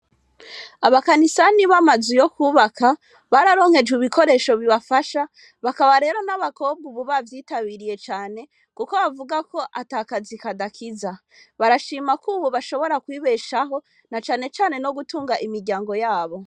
Abakanisani bamaze uyo kwubaka bararonkejwe ibikoresho bibafasha bakaba rero n'abakobwa ububavyitabiriye cane, kuko bavuga ko atakazi kadakiza barashima ko, ubu bashobora kwibeshaho na canecane no gutunga imiryango yabo.